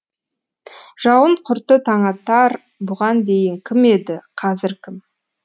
жауын құрты таңатар бұған дейін кім еді қазір кім